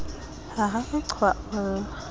ha re re re qhwaolla